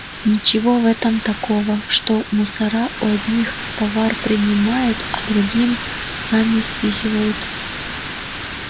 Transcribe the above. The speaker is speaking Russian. ничего в этом такого что мусора у одних товар принимают а другим сами спихивают